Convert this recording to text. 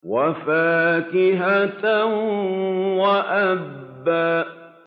وَفَاكِهَةً وَأَبًّا